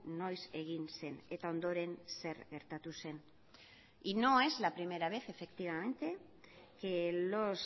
noiz egin zen eta ondoren zer gertatu zen y no es la primera vez efectivamente que los